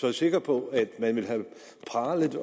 jeg sikker på at man ville have pralet